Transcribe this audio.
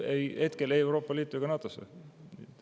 Ukraina ei kuulu ei Euroopa Liitu ega NATO-sse.